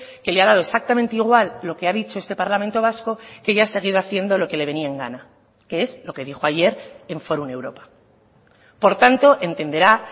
que le ha dado exactamente igual lo que ha dicho este parlamento vasco que ella ha seguido haciendo lo que le venía en gana que es lo que dijo ayer en forum europa por tanto entenderá